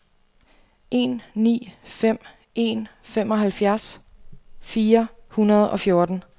en ni fem en femoghalvtreds fire hundrede og fjorten